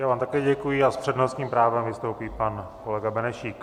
Já vám také děkuji a s přednostním právem vystoupí pan kolega Benešík.